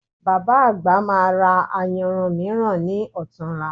Bàbá àgbà máa ra ayanran mìíràn ní ọ̀tunla